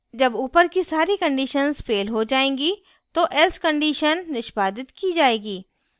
जब ऊपर की सारी conditions fail हो जाएँगी तो else condition निष्पादित की जाएगी